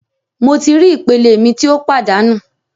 Mo ti ri ipele mi ti o padanu